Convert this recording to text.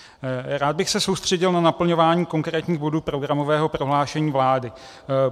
Rád bych se soustředil na naplňování konkrétních bodů programového prohlášení vlády.